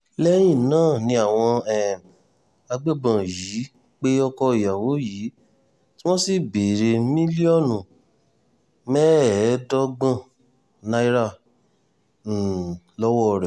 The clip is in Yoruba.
lẹ́yìn náà ni àwọn um agbébọn yìí pe ọkọ obìnrin yìí tí wọ́n sì béèrè mílíọ̀nù mẹ́ẹ̀ẹ́dọ́gbọ̀n náírà um lọ́wọ́ rẹ̀